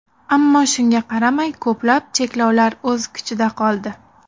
Ammo shunga qaramay, ko‘plab cheklovlar o‘z kuchida qoldi.